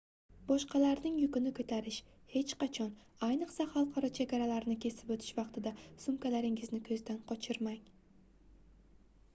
boshqalarning yukini koʻtarish hech qachon ayniqsa xalqaro chegaralarni kesib oʻtish vaqtida sumkalaringizni koʻzdan qochirmang